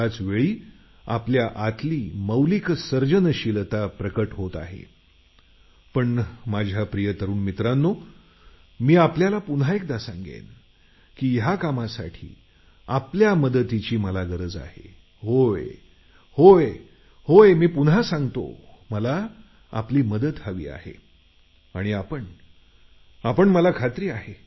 त्याचवेळी आपल्यातील मौलिक सर्जनशीलता प्रगट होत आहे